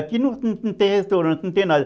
Aqui não não tem restaurante, não tem nada.